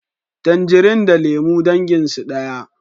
Tanjari da lemu dangin su daya